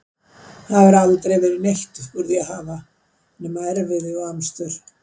Það hefur aldrei verið neitt upp úr því að hafa nema erfiði og amstur.